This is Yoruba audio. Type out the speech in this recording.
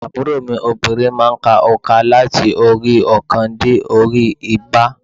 Àbúrò mi obìnrin má a n ka ònkà láti orí óòkan dé orí i igba